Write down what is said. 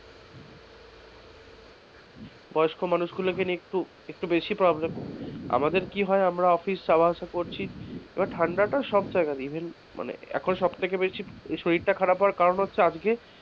বয়স্ক মানুষদের নিয়ে একটু বেশি problem আমাদের হয় কি যাওয়া আশা করছি এবার ঠান্ডাটা সব জায়গাতে even মানে এখন সবচেয়ে বেশি শরীরটা খারাপ হওয়ার কারণ হচ্ছে আজকে,